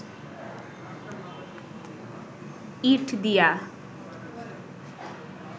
ইঁট দিয়া